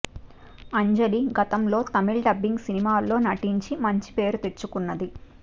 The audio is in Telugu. అంజలి గతంలో తమిళ డబ్బింగ్ సినిమాలలో నటించి మంచి పేరు తెచ్చుకున్నది